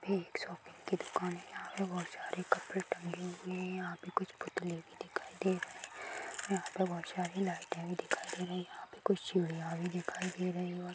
यह एक शॉपिंग की दुकान है यहाँ पर बहुत सारे कपड़े टंगे हुए हैं यहाँ पर कुछ पुतले भी दिखाई दे रहे हैं यहाँ पर बहुत सारी लाइटे भी दिखाई दे रही है यहाँ पर कुछ चुड़ियाँ भी दिखाई दे रही है।